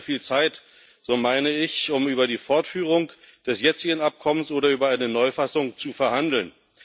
Nicht mehr viel Zeit so meine ich um über die Fortführung des jetzigen Abkommens oder über eine Neufassung zu verhandeln.